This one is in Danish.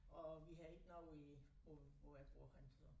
Og vi har ikke noget i hvor hvor jeg bor henne så